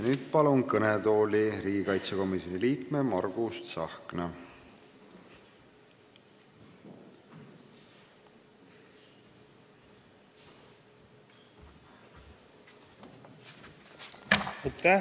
Nüüd palun kõnetooli riigikaitsekomisjoni liikme Margus Tsahkna!